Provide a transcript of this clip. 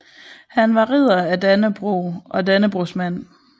Han var Ridder af Dannebrog og Dannebrogsmand